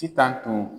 Sitan tun